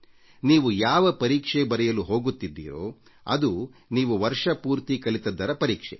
ನೀವು ಯಾವ ಪರೀಕ್ಷೆ ಬರೆಯಲು ಹೋಗುತ್ತಿದ್ದೀರೊ ಅದು ನೀವು ವರ್ಷಪೂರ್ತಿ ಕಲಿತದ್ದರ ಪರೀಕ್ಷೆ